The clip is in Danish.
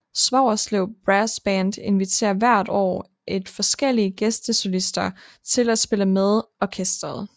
Svogerslev Brass Band inviterer hvert år forskellige gæstesolister til at spille med orkesteret